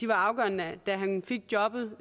var afgørende da han fik jobbet